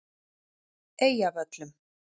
Eyjavöllum